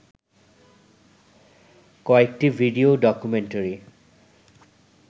কয়েকটি video documentary